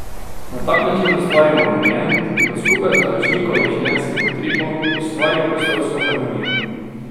Na tak način ustvarimo ambient, ki bo skupaj z naročnikovim življenjskim utripom ustvaril prostorsko harmonijo.